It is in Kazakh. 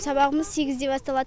сабағымыз сегізде басталады